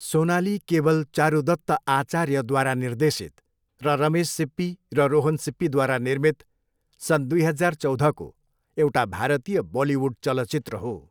Sonali cable Charudutt आचार्यद्वारा निर्देशित र रमेश सिप्पी र रोहन सिप्पीद्वारा निर्मित सन् दुई हजार चौधको एउटा भारतीय बलिउड चलचित्र हो।